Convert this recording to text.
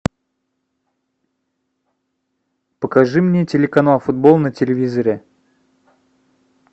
покажи мне телеканал футбол на телевизоре